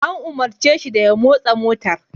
An umarce shi da ya motsa motar!